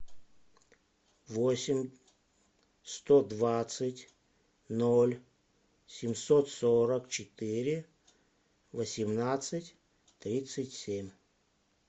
восемь сто двадцать ноль семьсот сорок четыре восемнадцать тридцать семь